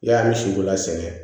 Yamu misibola sɛnɛ